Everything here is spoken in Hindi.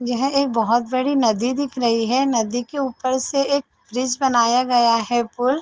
यहाँ एक बहोत बड़ी नदी दिख रही है नदी के ऊपर से एक ब्रिज बनाया गया है पूल --